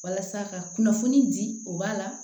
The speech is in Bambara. Walasa ka kunnafoni di o b'a la